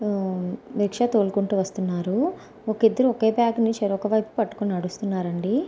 ఆ రిక్షా తోలుకుంటూ వస్తున్నారు. ఒకిద్దరు ఒకే బ్యాగు ని చెరోక వైపు పట్టుకుని నడుస్తున్నారండి.